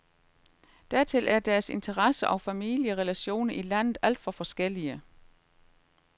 Dertil er deres interesser og familierelationer i landet alt for forskellige.